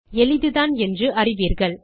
எளிதுதான் என்று அறிவீர்கள்